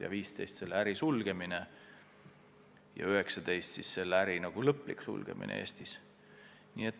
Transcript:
2015. aastal mitteresidentidega seotud äri suleti ja 2019. aastal on selle äri lõplik sulgemine Eestis.